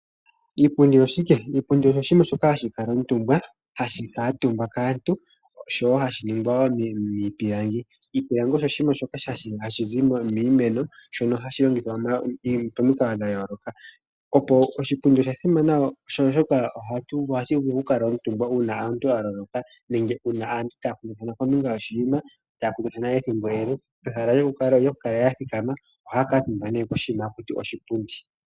Iipundi oshike? Iipundi osho shimwe shoka hashi kalwa omutumba kaantu oshowo hashi niingawo miipilangi. Iipilangi osho oshinima shoka hashi zi momiti nohashi longithwa pamikalo dha yoloka. Oshipundi osha simana oshoka ohashi vulu okukalwa omutumba una omuntu a loloka nenge una aantu taya kundathana kombinga yoshinima notaya kundathana ethimbo ele, pehala lyoku kala yathikama ohaya ku utumba ne koshinima hakutiwa oshipundi.